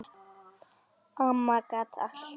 Amma gat allt.